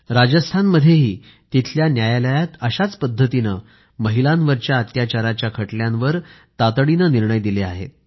राजस्थानमध्येही तिथल्या न्यायालयात अशाच पद्धतीने महिलांवरच्या अत्याचाराच्या खटल्यांवर तातडीने निर्णय दिले आहेत